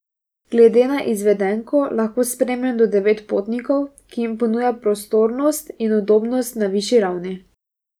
Glede na izvedenko lahko sprejme do devet potnikov, ki jim ponuja prostornost in udobnost na višji ravni.